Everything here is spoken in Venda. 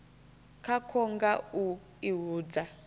khakwo nga u i hudza